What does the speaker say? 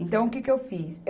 Então o que que eu fiz?